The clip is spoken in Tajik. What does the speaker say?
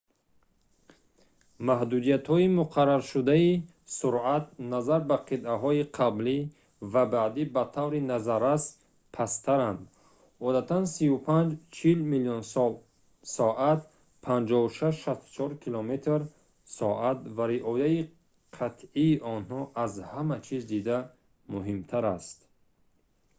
маҳдудиятҳои муқарраршудаи суръат назар ба қитъаҳои қаблӣ ва баъдӣ ба таври назаррас пасттаранд - одатан 35-40 мил/соат 56-64 км/соат - ва риояи қатъии онҳо аз ҳама чиз дида муҳимтар аст